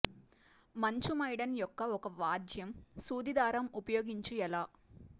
మంచు మైడెన్ యొక్క ఒక వ్యాజ్యం సూది దారం ఉపయోగించు ఎలా